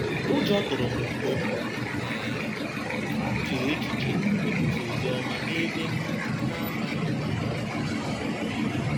Ụjọ tụrụ m mgbe m um chere echiche ikwusa ozi ọma n’ebe m na - amaghị.